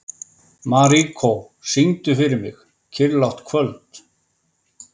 Marikó, syngdu fyrir mig „Kyrrlátt kvöld“.